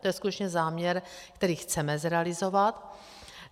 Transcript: To je skutečně záměr, který chceme zrealizovat.